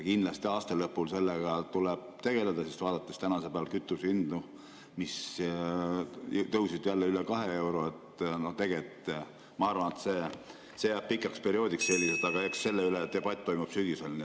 Kindlasti tuleb aasta lõpul sellega tegeleda, sest vaadates praegu kütusehindu, mis tõusid jälle üle kahe euro, siis ma arvan, et see jääb selliseks pikaks perioodiks , aga eks debatt selle üle toimub sügisel.